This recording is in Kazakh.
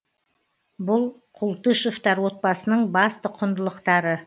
бұл култышевтар отбасының басты құндылықтары